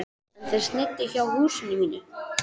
En þeir sneiddu hjá húsinu mínu.